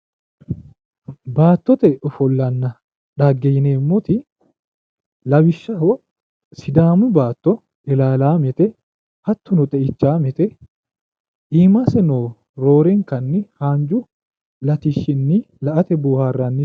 Baattote ofollonna xaggeeti yineemmoti lawishaho sidaamu baatto ilaalaamete hattono xeichaamete iimaseno roorenkanni haanju latishshinni la'ate boohaarranni.